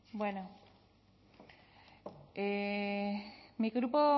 bueno mi grupo